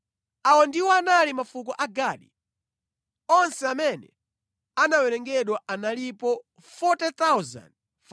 Awa ndiwo anali mafuko a Gadi. Onse amene anawerengedwa analipo 40,500.